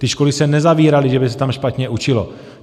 Ty školy se nezavíraly, že by se tam špatně učilo.